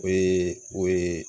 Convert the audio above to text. O ye o ye